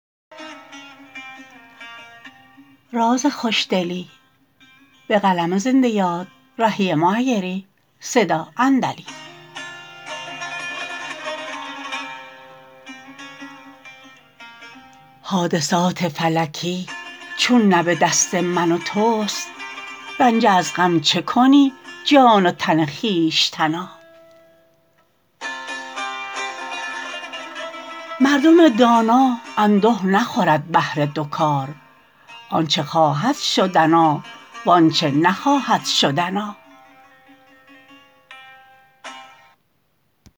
حادثات فلکی چون نه به دست من و توست رنجه از غم چه کنی جان و تن خویشتنا مردم دانا اندوه نخورد بهر دوکار آنچه خواهد شدنا و آنچه نخواهد شدنا